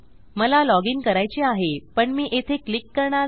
मला log in करायचे आहे पण मी येथे क्लिक करणार नाही